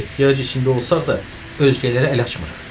Ehtiyac içində olsaq da özgələrə əl açmırıq.